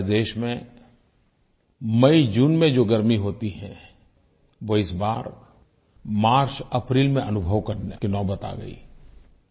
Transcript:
हमारे देश में मईजून में जो गर्मी होती है वो इस बार मार्चअप्रैल में अनुभव करने की नौबत आ गयी